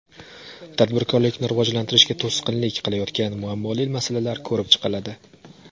Tadbirkorlikni rivojlantirishga to‘sqinlik qilayotgan muammoli masalalar ko‘rib chiqiladi.